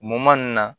Mɔman nun na